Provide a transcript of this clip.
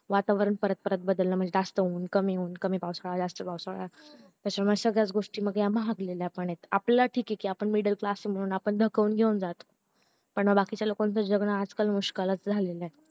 वातावरण परत परत बदलणं म्हणजे जास्त ऊन कमी ऊन कमी पावसाळा जास्त पावसाळा त्याच्या मुले सगळ्याच गोष्टी ह्या महागल्या आहे आपला ठीक या आपण middle class म्हणून आपण दकाऊन घेऊन जातो बाकीच्या लोकांचं जगन आजकाल मुश्किल झालेलं